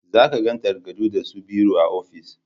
Za ka ga takardu da su biro a ofis